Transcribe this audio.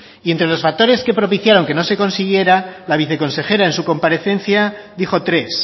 y entre los factores que propiciaron que no se consiguiera la viceconsejera en su comparecencia dijo tres